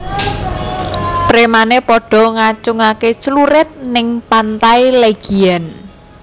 Premane podo ngacungke clurit ning Pantai Legian